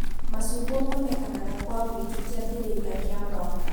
Macungwa monekanaga kũa wũingi kiambiriria kia mũaka